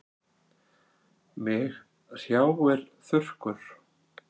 Mig hrjáir þurrkur.